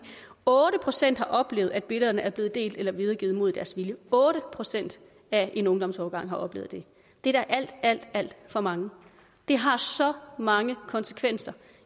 otte procent har oplevet at billederne er blevet delt eller videregivet mod deres vilje otte procent af en ungdomsårgang har oplevet det det er da alt alt alt for mange det har så mange konsekvenser